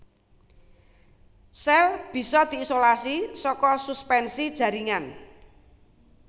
Sèl bisa diisolasi saka suspensi jaringan